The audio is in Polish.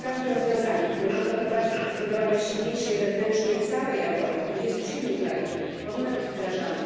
Każde rozwiązanie, które może doprowadzić do zbudowania silniejszej wewnętrznie całej Europy 27 krajów, powinno być wdrażane.